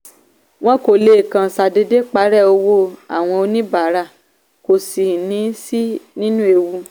wọn kò lè kàn ṣàdédé parẹ́ owó àwọn oníbàárà kò sì ní sí nínú ewu.